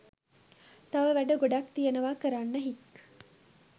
තව වැඩ ගොඩක් තියනවා කරන්න හික්